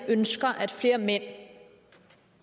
ønsker at flere mænd